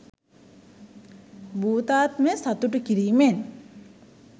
භූතාත්මය සතුටු කිරිමෙන්